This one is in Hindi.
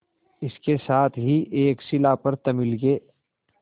इसके साथ ही एक शिला पर तमिल के